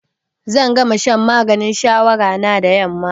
Zan gama shan maganin shawara na da yamma.